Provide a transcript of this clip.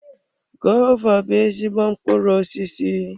Gova bụ ezigbo mkpụrụ osisi.